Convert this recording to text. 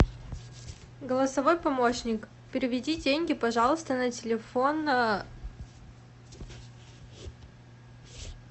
голосовой помощник переведи деньги пожалуйста на телефон